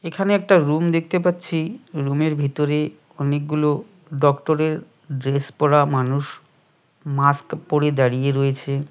এখানে একটা রুম দেখতে পাচ্ছি রুমের ভিতরে অনেকগুলো ডক্টরের ড্রেস পরা মানুষ মাস্ক পড়ে দাঁড়িয়ে রয়েছে।